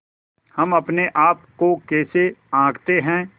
हम अपने आप को कैसे आँकते हैं